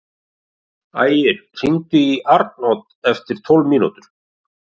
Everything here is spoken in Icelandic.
Ægir, hringdu í Arnodd eftir tólf mínútur.